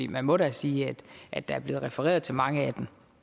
man må da sige at der er blevet refereret til mange af